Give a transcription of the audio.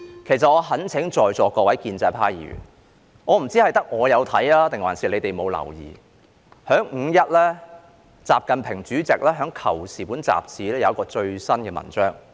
其實我懇請在座各位建制派議員......我不知道只有我看到，還是他們沒有留意，習近平主席於"五一"在《求是》雜誌發表了一篇最新的文章。